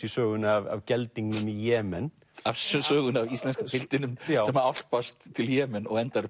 í sögunni af geldingnum í Jemen sögunni af íslenska piltinum sem álpast til Jemen og endar